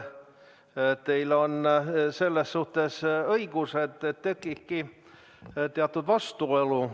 Jah, teil on selles suhtes õigus, et tekibki teatud vastuolu.